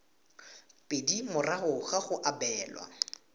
pedi morago ga go abelwa